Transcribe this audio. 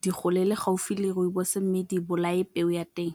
di golele gaufi le Rooibos mme di bolaye peo ya teng.